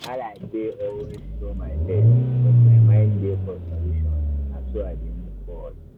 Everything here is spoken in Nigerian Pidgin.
wahala dey always show face but my mind dey for solutions na so i dey move forward.